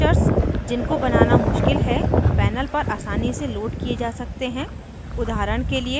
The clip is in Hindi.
complex structures जिनको बनाना मुश्किल है panel पर आसानी से लोड किये जा सकते हैं